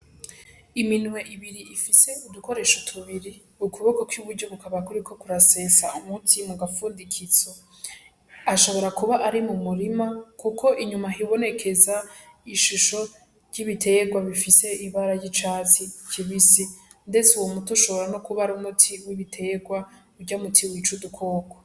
Iminwe ibiri ifise udukoresho tubiri, ukuboko kw'iburyo kukaba kuriko kurasesa umuti mu gafundikizo. Ashobora kuba ari mu murima kuko inyuma hibonekeza ishusho ry'ibiterwa rifise ibara ry'icatsi kibisi. Ndetse uwo muti ushobora no kuba ari umuti w'ibiterwa, urya muti wica udukoko.